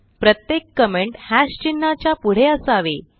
प्रत्येक कमेंट चिन्हाच्या पुढे असावे